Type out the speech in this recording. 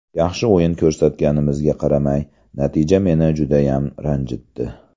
Yaxshi o‘yin ko‘rsatganimizga qaramay, natija meni judayam ranjitdi.